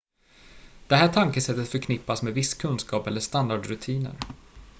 det här tankesättet förknippas med viss kunskap eller standardrutiner